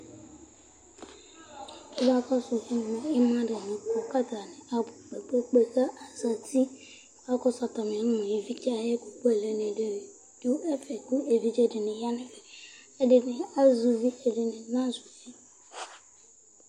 Kʋ akɔsu ɛmɛ, ima alevi kɔ kʋ atani abʋ kpe kpe kpe Kʋ akɔsu atami ìlí evidze dìní ya nʋ atami ɛtu Ɛdiní azɛ ʋvi Ɛdiní ana zɛ ʋvi